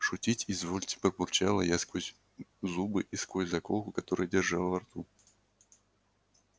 шутить изволите пробурчала я сквозь зубы и сквозь заколку которую держала во рту